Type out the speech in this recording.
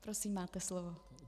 Prosím, máte slovo.